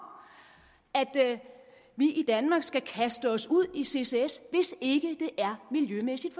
at vi i danmark skal kaste os ud i ccs hvis ikke det er miljømæssigt